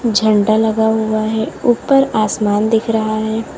झंडा लगा हुआ है ऊपर आसमान दिख रहा है।